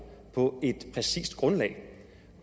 på et præcist grundlag